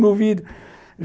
No vidro.